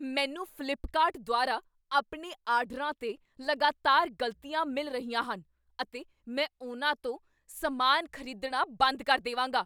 ਮੈਨੂੰ ਫ਼ਲਿੱਪਕਾਰਟ ਦੁਆਰਾ ਆਪਣੇ ਆਰਡਰਾਂ 'ਤੇ ਲਗਾਤਾਰ ਗ਼ਲਤੀਆ ਮਿਲ ਰਹੀਆਂ ਹਨ ਅਤੇ ਮੈਂ ਉਹਨਾਂ ਤੋਂ ਸਮਾਨ ਖ਼ਰੀਦਣਾ ਬੰਦ ਕਰ ਦੇਵਾਂਗਾ।